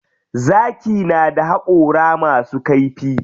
Zaki na da haƙora masu kaifi.